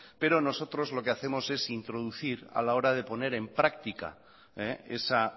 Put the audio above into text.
pero nosotros lo que hacemos es introducir a la hora de poner en práctica esa